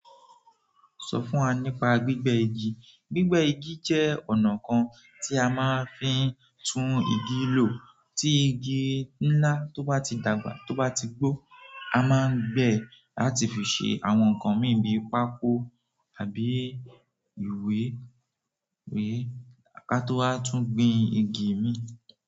Sọ fún wa nípa gbígbẹ́ igi. Gbígbẹ́ igi jẹ́ ọ̀nà kan tí a máa ń fi tún igi lò. Tí igi ńlá tó bá ti dàgbà tó bá ti gbó, a máa ń gbẹ́ rẹ̀ láti fi ṣe àwọn nǹkan mí pákó àbí ìwé, à ká tó wá tún gbin igi mi.